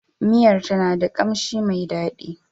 Miyar ta na da ƙamshin mai dadi.